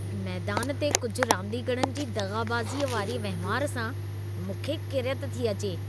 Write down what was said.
मैदान ते कुझि रांदीगरनि जी दग़ाबाज़ीअ वारी वहिंवार सां मूंखे किरियत थी अचे।